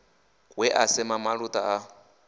we a sema maluta a